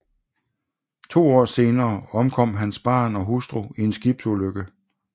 To år senere omkom hans barn og hustru i en skibsulykke